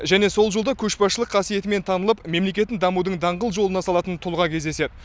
және сол жолда көшбасшылық қасиетімен танылып мемлекетін дамудың даңғыл жолына салатын тұлға кездеседі